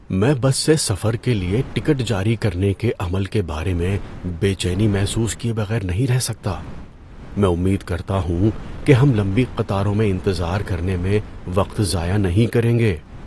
‏میں بس سے سفر کے لیے ٹکٹ جاری کرنے کے عمل کے بارے میں بے چینی محسوس کیے بغیر نہیں رہ سکتا؛ میں امید کرتا ہوں کہ ہم لمبی قطاروں میں انتظار کرنے میں وقت ضائع نہیں کریں گے